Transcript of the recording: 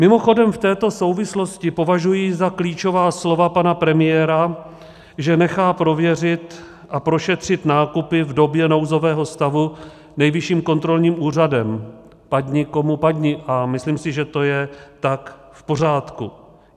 Mimochodem, v této souvislosti považuji za klíčová slova pana premiéra, že nechá prověřit a prošetřit nákupy v době nouzového stavu Nejvyšším kontrolním úřadem, padni komu padni, a myslím si, že to je tak v pořádku.